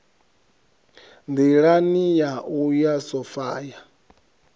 nḓilani ya u ya sophia